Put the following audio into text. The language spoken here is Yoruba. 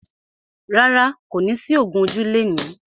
Rárá, kò ní sí ògún ojú lẹni.